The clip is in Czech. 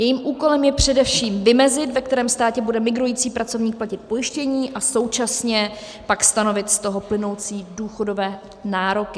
Jejím úkolem je především vymezit, ve kterém státě bude migrující pracovník platit pojištění, a současně pak stanovit z toho plynoucí důchodové nároky.